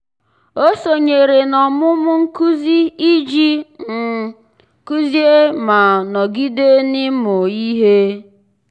ọ́ sònyèrè n’ọ́mụ́mụ́ nkuzi iji um kụ́zị́é ma nọ́gídé n’ị́mụ́ ihe.